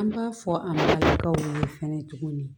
An b'a fɔ an baw ye fɛnɛ tuguni